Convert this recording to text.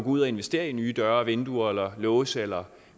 ud og investere i nye døre vinduer eller låse eller